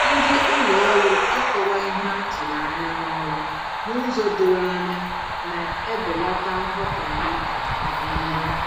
Ndị ụlọ ọrụ ịkọwa ihe a tụrụ anya n'ọrụ n'ụzọ doro anya na-ebelata nghọtahie na mmegbu